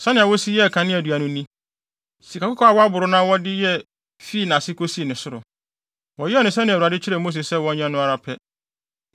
Sɛnea Wosi yɛɛ kaneadua no ni: Sikakɔkɔɔ a wɔaboro na wɔde yɛ fii nʼase kosi ne soro. Wɔyɛɛ no sɛnea Awurade kyerɛɛ Mose sɛ wɔnyɛ no ara pɛ.